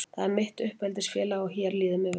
Það er mitt uppeldisfélag og hér líður mér mjög vel.